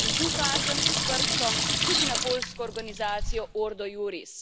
In tu kažem s prstom tudi na poljsko organizacijo Ordo iuris.